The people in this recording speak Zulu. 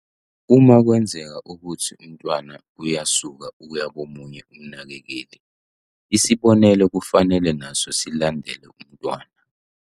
"Uma kwenzeka ukuthi umntwana uyasuka uya komunye umnakekeli, isibonelelo kufanele naso silandele umntwana."